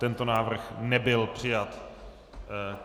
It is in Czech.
Tento návrh nebyl přijat.